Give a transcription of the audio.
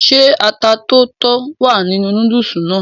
ṣé ata tó tó wà nínú núdùsì náà?